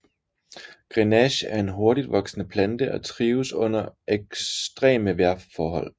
Grenache er en hurtigtvoksende plante og trives under eksyreme vejrforhold